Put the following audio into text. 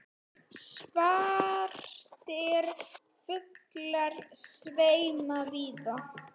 Svartir fuglar sveima víða.